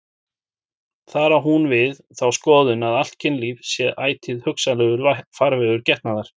Þar á hún við þá skoðun að allt kynlíf sé ætíð hugsanlegur farvegur getnaðar.